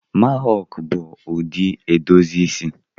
Mahawk bụ ụdị edozi isi